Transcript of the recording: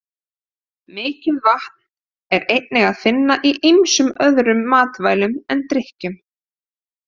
Mikið vatn er einnig að finna í ýmsum öðrum matvælum en drykkjum.